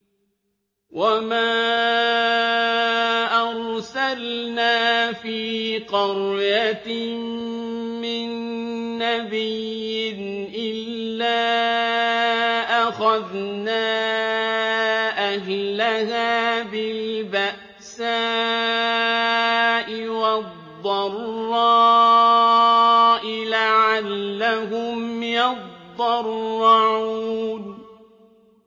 وَمَا أَرْسَلْنَا فِي قَرْيَةٍ مِّن نَّبِيٍّ إِلَّا أَخَذْنَا أَهْلَهَا بِالْبَأْسَاءِ وَالضَّرَّاءِ لَعَلَّهُمْ يَضَّرَّعُونَ